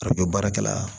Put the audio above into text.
A bɛ baarakɛla